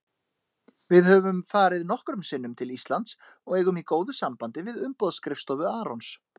Við höfum farið nokkrum sinnum til Íslands og eigum í góðu sambandi við umboðsskrifstofu Arons.